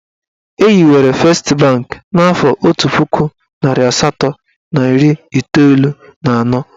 Ehiwere fest banki n'afọ otu puku narị asatọ na iri iteolu na anọ.